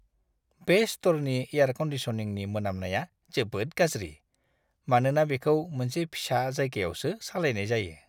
बे स्ट'रनि एयार कन्दिसनिंनि मोनामनाया जोबोद गाज्रि, मानोना बेखौ मोनसे फिसा जायगायावसो सालायनाय जायो!